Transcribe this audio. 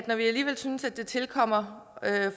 når vi alligevel synes det tilkommer